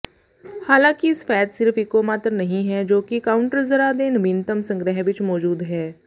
ਹਾਲਾਂਕਿ ਸਫੈਦ ਸਿਰਫ ਇਕੋਮਾਤਰ ਨਹੀਂ ਹੈ ਜੋ ਕਿ ਕਾਊਟਰਜ਼ਰਾਂ ਦੇ ਨਵੀਨਤਮ ਸੰਗ੍ਰਿਹ ਵਿੱਚ ਮੌਜੂਦ ਹੈ